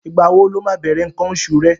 Ìgbà wo lo máa bẹ̀rẹ̀ nǹkan oṣù rẹ?